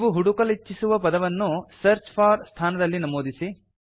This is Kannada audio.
ನೀವು ಹುಡುಕಲಿಚ್ಛಿಸುವ ಪದವನ್ನು ಸರ್ಚ್ ಫೋರ್ ಸ್ಥಾನದಲ್ಲಿ ನಮೂದಿಸಿ